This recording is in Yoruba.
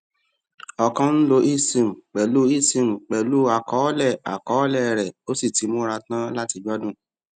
o kàn ń lo esim pẹlú esim pẹlú àkọọlẹ àkọọlẹ rẹ o sì ti múra tán láti gbádùn